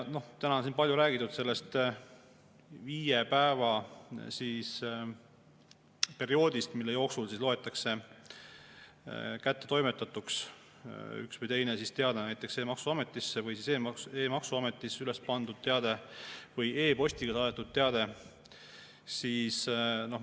Täna on siin palju räägitud sellest viie päeva perioodist, mille jooksul loetakse kättetoimetatuks üks või teine näiteks e‑maksuametis üles pandud teade või e‑postiga saadetud teade.